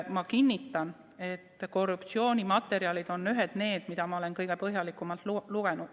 Ma kinnitan, et korruptsioonimaterjalid on ühed sellised, mida ma olen kõige põhjalikumalt lugenud.